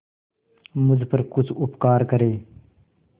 मुझ पर कुछ उपकार करें